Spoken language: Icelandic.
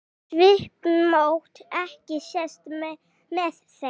Svipmót ekki sést með þeim.